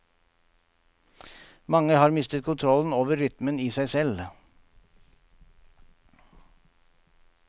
Mange har mistet kontrollen over og rytmen i seg selv.